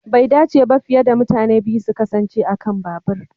Bai dace ba fiye da mutane biyu su kasance a kan babur.